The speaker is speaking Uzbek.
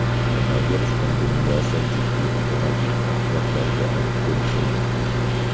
Koronavirus pandemiyasi jiddiy ekologik oqibatlarga olib kelishi mumkin.